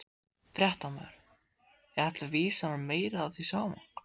Fréttamaður: Er þetta vísun á meira af því sama?